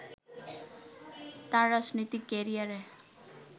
তার রাজনৈতিক ক্যারিয়ারের